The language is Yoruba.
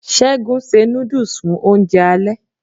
Segun se nudus fun ounje ale